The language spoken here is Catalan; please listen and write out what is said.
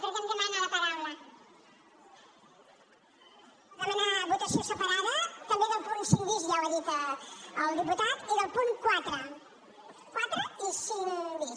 per demanar votació separada també del punt cinc bis ja ho ha dit el diputat i del punt quatre quatre i cinc bis